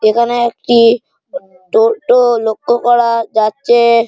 এখানে একটি টোটো লক্ষ্য করা যাচ্ছে।